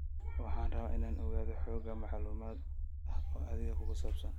Waxaan rabaa inaan ogaado xoogaa macluumaad ah oo adiga kugu saabsan